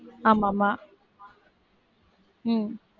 ஆமாம்மா உம்